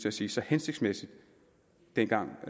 at sige så hensigtsmæssigt dengang og